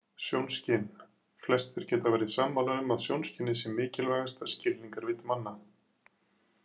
Sjónskyn Flestir geta verið sammála um að sjónskynið sé mikilvægasta skilningarvit manna.